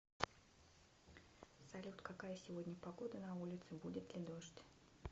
салют какая сегодня погода на улице будет ли дождь